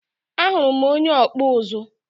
Ahuru m onye ọkpụ ụzụ.